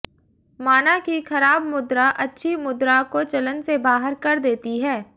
माना कि खराब मुद्रा अच्छी मुद्र्रा को चलन से बाहर कर देती है